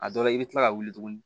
A dɔ la i bɛ kila ka wuli tuguni